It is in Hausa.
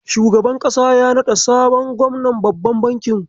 Shugaban ƙasa ya naɗa sabon gwamnan babban banki.